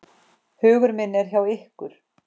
Hugur minn er hjá ykkur.